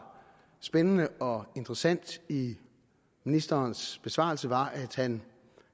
spændende og interessant i ministerens besvarelse var at han